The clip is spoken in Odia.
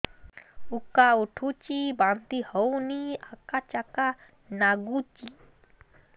ଉକା ଉଠୁଚି ବାନ୍ତି ହଉନି ଆକାଚାକା ନାଗୁଚି